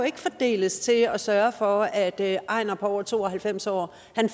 ikke fordeles til at sørge for at ejnar på over to og halvfems år